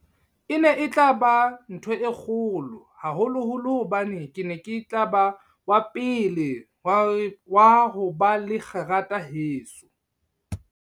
E ne e tla ba ntho e kgolo, haholoholo hobane ke ne ke tla ba wa pele wa ho ba le kgerata heso.